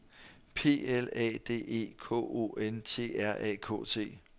P L A D E K O N T R A K T